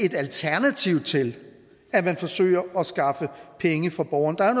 et alternativ til at man forsøger at skaffe penge fra borgerne der er